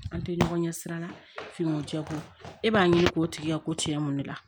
An tɛ ɲɔgɔn ɲɛ sira la finiw tɛ ko e b'a ɲini k'o tigi ka ko tiɲɛ mun ne la